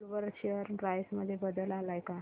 Woolworth share price मध्ये बदल आलाय का